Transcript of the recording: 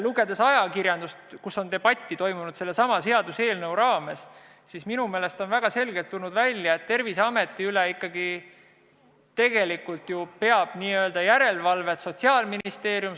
Lugedes ajakirjandust, kus sellesama seaduseelnõu raames on debatti peetud, on minu meelest väga selgelt välja tulnud, et tegelikult teostab Terviseameti üle järelevalvet Sotsiaalministeerium.